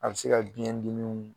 A bɛ se ka biɲɛdimiw